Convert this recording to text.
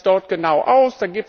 Wie sieht das dort genau aus?